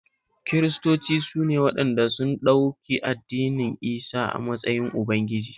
Kiristoci su ne waɗanda sun ɗauki Annabi Isah a matsayin Ubangiji